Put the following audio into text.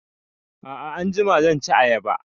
A'a anjima zan ci ayaba